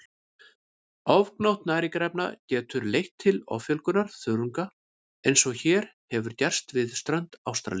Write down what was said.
Ofgnótt næringarefna getur leitt til offjölgunar þörunga eins og hér hefur gerst við strönd Ástralíu.